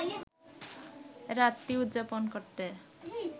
রাতটি উদযাপন করতে